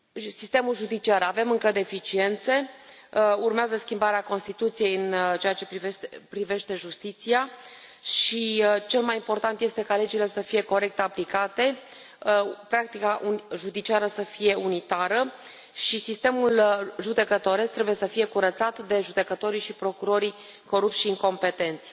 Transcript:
Sistemul judiciar avem încă deficiențe, urmează schimbarea Constituției în ceea ce privește justiția și cel mai important este ca legile să fie corect aplicate, practica judiciară să fie unitară și sistemul judecătoresc trebuie să fie curățat de judecătorii și procurorii corupți și incompetenți.